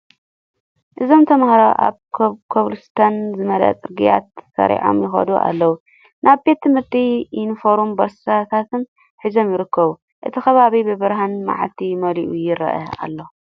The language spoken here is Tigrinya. እዚ ተማሃሮ ኣብ ከብልስቶን ዝመልኦ ጽርግያ ተሰሪዖም ይከዱ ኣለው። ናይ ቤት ትምህርቲ ዩኒፎርምን ቦርሳታትን ሒዞም ይርከቡ። እቲ ከባቢ ብብርሃን መዓልቲ መሊኡ የረአ ኣሎ።